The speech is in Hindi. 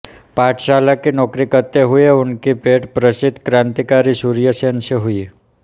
पाठशाला की नौकरी करते हुए उनकी भेट प्रसिद्ध क्रांतिकारी सूर्य सेन से हुई